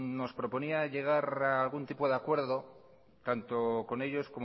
nos proponía llegar a algún tipo de acuerdo tanto con ellos